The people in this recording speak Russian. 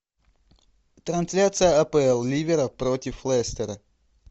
трансляция апл ливера против лестера